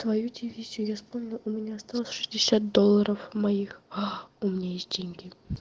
твою дивизию я вспомнил у меня осталось шестьдесят долларов моих аа у меня есть деньги